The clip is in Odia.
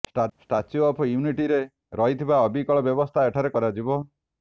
ଷ୍ଟାଚ୍ୟୁ ଅଫ ୟୁନିଟିରେ ରହିଥିବା ଅବିକଳ ବ୍ୟବସ୍ଥା ଏଠାରେ କରାଯିବ